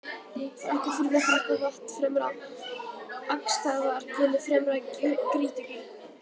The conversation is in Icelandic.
Frakkafurða, Frakkavatn, Fremra-Akstaðargil, Fremra-Grýtugil